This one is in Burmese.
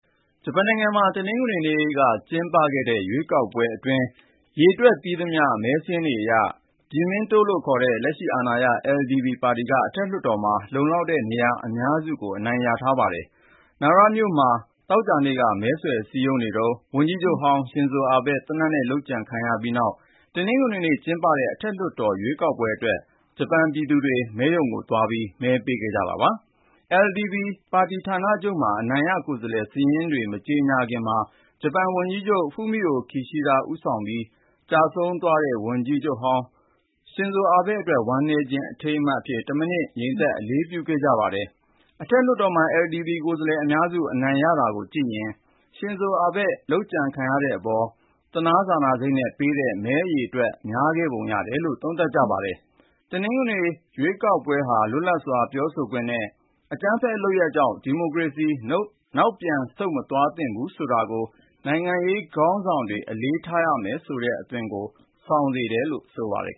ဂျပန်နိုင်ငံမှာ တနင်္ဂနွေနေ့ ကျင်းပတဲ့ ရွေးကောက်ပွဲအတွင်း ရေတွက်ပြီးသမျှ မဲစာရင်းတွေအရ "ဂျီမင်းတို့" ခေါ် လက်ရှိအာဏာရ LDP (Liberal Democratic Party) ပါတီက အထက်လွှတ်တော်မှာ လုံလောက်တဲ့ နေရာအများစုကို အနိုင်ရထားပါတယ်။ နာရာမြို့မှာ သောကြာနေ့က မဲဆွယ်စည်းရုံးနေတုန်း ဝန်ကြီးချုပ်ဟောင်း Shinzo Abe သေနတ်နဲ့ လုပ်ကြံခံရပြီးနောက် တနင်္ဂနွေနေ့ကျင်းပတဲ့ အထက်လွှတ်တော်ရွေးကောက်ပွဲအတွက် ဂျပန်ပြည်သူတွေ မဲရုံတွေကို သွားပြီး မဲပေးခဲ့ကြတာပါ။ LDP ပါတီဌာနချုပ်မှာ အနိုင်ရကိုယ်စားလှယ် စာရင်းတွေ မကြေညာခင်မှာ ဂျပန်ဝန်ကြီးချုပ် Fumio Kishida ဦးဆောင်ပြီး ၊ ကျဆုံးခဲ့ရတဲ့ ဝန်ကြီးချုပ်ဟောင်း Shinzo Abe အတွက် ဝမ်းနည်းခြင်း အထိမ်းအမှတ်အဖြစ် တမိနစ် ငြိမ်သက် အလေးပြုခဲ့ကြပါတယ်။ အထက်လွှတ်တော်မှာ LDP ကိုယ်စားလှယ်အများစု အနိုင်ရတာကိုကြည့်ရင် Shinzo Abe လုပ်ကြံခံရတဲ့အပေါ် သနားစာနာစိတ်နဲ့ ပေးတဲ့ မဲအရေအတွက် များခဲ့ပုံ ရတယ်လို့ သုံးသပ်ကြပါတယ်။ တနင်္ဂနွေရေးပွဲဟာ လွတ်လပ်စွာ ပြောဆိုခွင့်နဲ့ အကြမ်းဖက်လုပ်ရပ်ကြောင့် ဒီမိုကရေစီ နောက်ပြန် ဆုတ်မသွားသင့်ဘူးဆိုတာကို နိုင်ငံရေးခေါင်းဆောင်တွေ အလေးထားရမယ်ဆိုတဲ့ အသွင်ကို ဆောင်စေတယ်လို့ ဆိုပါတယ်